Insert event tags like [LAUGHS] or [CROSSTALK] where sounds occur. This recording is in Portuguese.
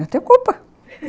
Eu tenho culpa [LAUGHS]